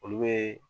Olu be